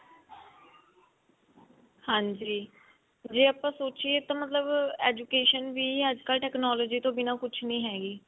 ਹਾਂਜੀ ਜੇ ਆਪਾਂ ਸੋਚਿਏ ਤਾਂ ਮਤਲਬ education ਵੀ ਅੱਜਕਲ technology ਤੋਂ ਬਿਨਾ ਕੁਛ ਵੀ ਨੀ ਹੈਗੀ